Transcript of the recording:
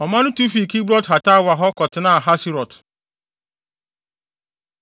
Ɔman no tu fii Kibrot-Hataawa hɔ kɔtenaa Haserot.